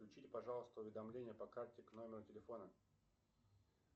подключите пожалуйста уведомления по карте к номеру телефона